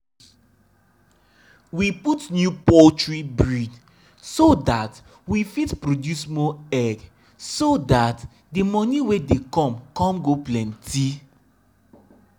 we dey always give animal better food when them get belle um so the pikin inside go grow well and um the mama um go born safe.